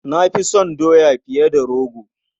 Na fi son doya fiye da rogo.